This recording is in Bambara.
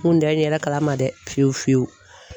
N kun tɛ n yɛrɛ kalama dɛ fiyewu fiyewu.